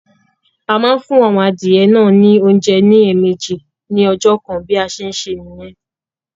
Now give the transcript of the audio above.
A máa ń fún àwọn adìyẹ náà ní oúnjẹ ní ẹ̀ẹ̀mejì ní ọjọ́ kan bí a ṣe ń ṣe nìyẹn